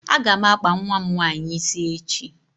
A ga m akpa nwa m nwaanyị ịsị echi